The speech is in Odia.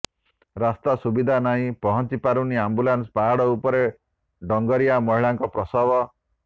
ରାସ୍ତା ସୁବିଧା ନାହିଁ ପହଞ୍ଚି ପାରୁନି ଆମ୍ବୁଲାନ୍ସ ପାହାଡ଼ ଉପରେ ଡଙ୍ଗରିଆ ମହିଳାଙ୍କ ପ୍ରସବ